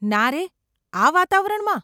નારે, આ વાતાવરણમાં?